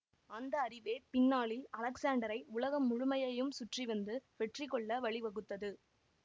அந்த அறிவே பின்னாளில் அலெக்சாண்டரை உலகம் முழுமையையும் சுற்றிவந்து வெற்றிகொள்ள வழிவகுத்தது